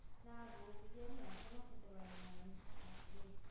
না গো বিরিয়ানি আমি এখনো খেতে পারি না বাপরে